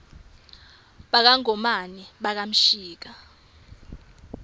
baka ngomane baka mshika